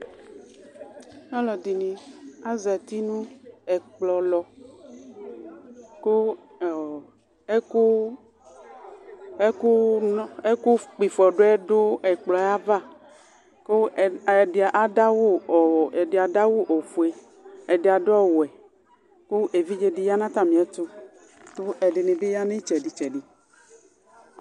Aluɛdini azati nu ɛkplɔlɔ Ɛku kpifɔdu ɔdu ɛkplɔ ava Kubɛdi zdu awu ofue ɛdi adu awu ɔwɛ Ku evidze dini du itsɛdi tsɛdi